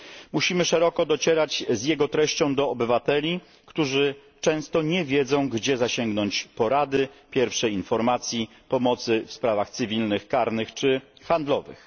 Musimy szeroko docierać z jego treścią do obywateli, którzy często nie wiedzą, gdzie zasięgnąć porady, pierwszych informacji, pomocy w sprawach cywilnych, karnych czy handlowych.